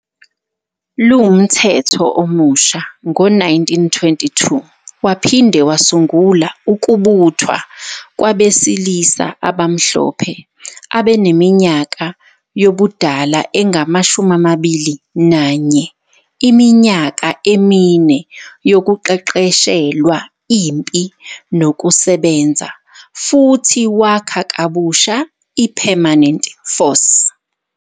LUmthetho omusha ngo-1922 waphinde wasungula ukubuthwa kwabesilisa abamhlophe abaneminyaka yobudala engama-21 iminyaka emine yokuqeqeshelwa impi nokusebenza, futhi wakha kabusha i-Permanent Force.